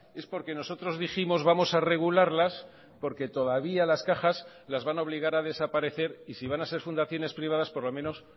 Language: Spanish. es porque nosotros dijimos vamos a regularlas porque todavía las cajas las van a obligar a desaparecer y si van a ser fundaciones privadas por lo menos